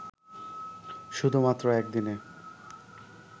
শুধুমাত্র একদিনে